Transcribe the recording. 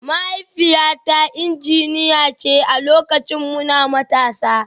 Mahaifiyata injiniya ce a lokacin muna matasa